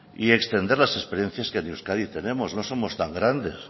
y extender la experiencia que en euskadi tenemos no somos tan grandes